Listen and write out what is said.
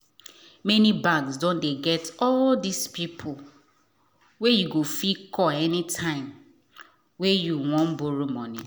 many banks doh dey get all these people wen you fit call anytime wen you won borrow money.